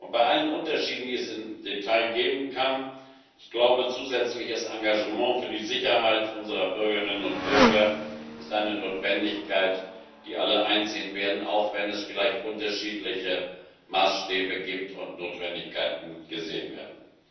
Bei allen Unterschieden, die es im Detail geben kann, ist zusätzliches Engagement für die Sicherheit unserer Bürgerinnen und Bürger eine Notwendigkeit, die alle einsehen werden, auch wenn es vielleicht unterschiedliche Maßstäbe gibt und unterschiedliche Notwendigkeiten gesehen werden.